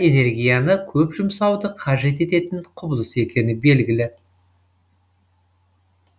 энергияны көп жұмсауды қажет ететін құбылыс екені белгілі